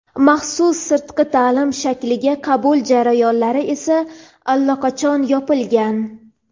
maxsus sirtqi taʼlim shakliga qabul jarayonlari esa allaqachon yopilgan.